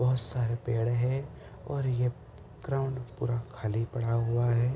बहोत सारे पेड़ हैं और ये क्रम पूरा खाली पड़ा हुआ है।